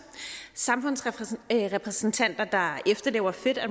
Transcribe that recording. samfundsrepræsentanter der efterlever fit